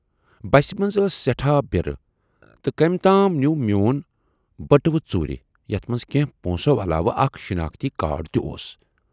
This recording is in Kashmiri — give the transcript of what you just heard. بسہِ منز ٲس سٮ۪ٹھاہ بِرٕ تہٕ کٔمۍ تام نیوٗ میون بٔٹوٕ ژوٗرِ، یَتھ منز کینہہ پونسو علاوٕ اکھ شِناختی کارڈ تہِ اوس۔